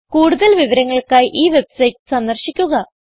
കൂടുതൽ വിവരങ്ങൾക്കായി ഈ വെബ്സൈറ്റ് സന്ദർശിക്കുക